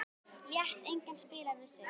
Lét engan spila með sig.